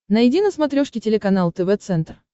найди на смотрешке телеканал тв центр